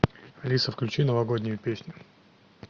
алиса включи новогоднюю песню